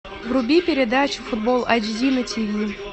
вруби передачу футбол айч ди на тиви